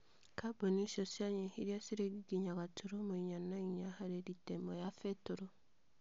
Kambuni icio cianyihirie ciringi inya gaturumo inya na inya harĩ lita ĩmwe ya betũrũ.